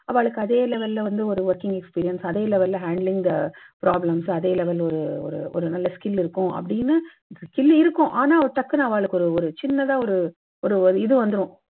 ஆவாளுக்கு அதே level ல வந்து ஒரு working experience அதே level ல handling the problems அதே level ல ஒரு நல்ல skill இருக்கும் அப்பிடீன்னு, skill இருக்கும். ஆனா டக்குன்னு ஆவாளுக்கு ஒருசின்னதா ஒரு ஒரு இது வந்துடும்.